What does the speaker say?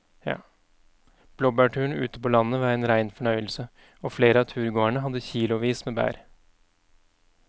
Blåbærturen ute på landet var en rein fornøyelse og flere av turgåerene hadde kilosvis med bær.